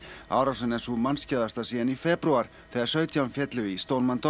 árásin er sú síðan í febrúar þegar sautján féllu í